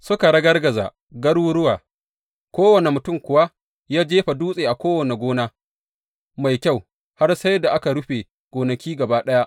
Suka ragargaza garuruwa, kowane mutum kuwa ya jefa dutse a kowane gona mai kyau har sai da aka rufe gonakin gaba ɗaya.